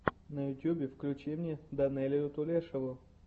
на ютьюбе включи мне данелию тулешову